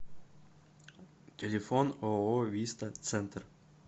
телефон ооо виста центр